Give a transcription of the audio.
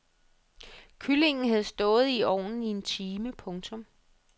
Kyllingen havde stået i ovnen i en time. punktum